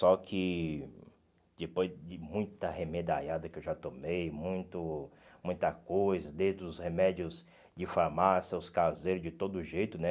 Só que depois de muita remedaiada que eu já tomei, muito muita coisa, desde os remédios de farmácia, aos caseiros de todo jeito, né?